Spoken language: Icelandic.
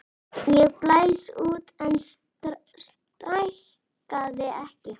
Ég blés út en stækkaði ekki.